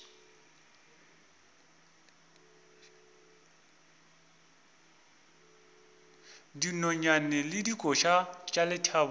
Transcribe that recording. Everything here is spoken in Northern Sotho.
dinonyane le dikoša tša lethabo